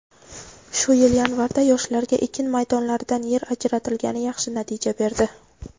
Shu yil yanvarda yoshlarga ekin maydonlaridan yer ajratilgani yaxshi natija berdi.